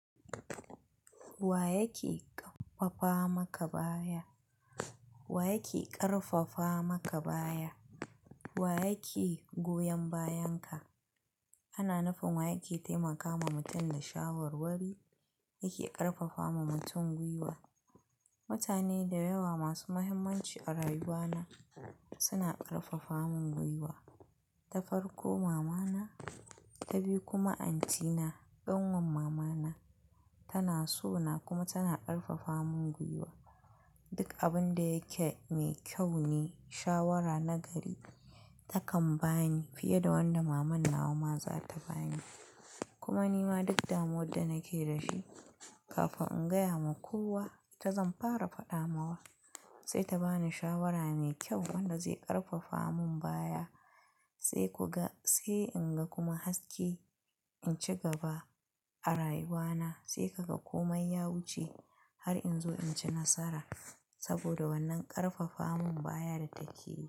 Wa yake ƙarfafa maka baya? Wa yake goyon bayan ka? Ana nufin wa yake taimakama mutum da shawarwari, yake ƙarfafa wa mutum gwiwa. Mutane da yawa masu muhimmanci a rayuwa na suna ƙarfafa mun gwiwa. Ta farko mama na, ta biyu kuma auntie na, ƙanwar mama na. Tana so na kuma tana ƙarfafa mun gwiwa. Duk abun da yake mai kyau ne shawara na gari ta kan bani fiye da wanda maman nawa ma za ta bani. Kuma ni ma duk damuwa da nake da shi kafin in gaya wa kowa ita zan fara faɗa ma wa, sai ta bani shawara mai kyau wanda zai ƙarfafa mun baya sai in ga kuma haske in ci gaba a rayuwa na, sai ka ga komai ya wucce har in zo in ci nasara. Saboda wannan ƙarfafa mun baya da take yi.